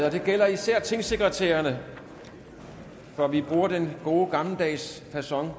og det gælder især tingsekretærerne for vi bruger den gode gammeldags facon